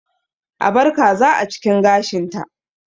A bar kaza a cikin gashinta